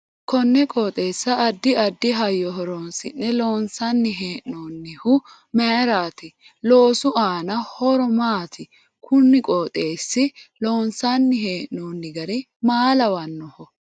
Konne qoxeesa addi addi hayyo horoonsi'ne loonsanni hee'noonihu mayiiraati loosu aano horo maati kunnne qooxeessa loonsani hee'nooni gari maa lawannoho